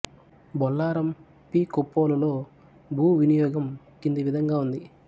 బొల్లారం పి కొప్పోలులో భూ వినియోగం కింది విధంగా ఉంది